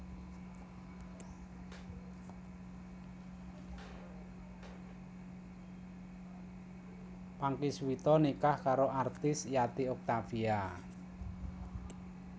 Pangky Suwito nikah karo artis Yati Octavia